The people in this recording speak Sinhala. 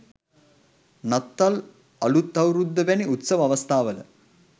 නත්තල් අලූත් අවුරුද්ද වැනි උත්සව අවස්ථාවල